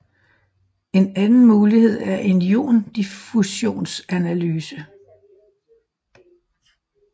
En anden mulighed er en iondiffutionsanalyse